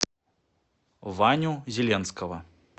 ваню зеленского